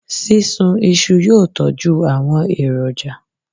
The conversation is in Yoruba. Sísun iṣu yóò tọjú àwọn èròjà.